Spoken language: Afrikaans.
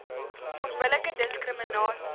onbillike diskri minasie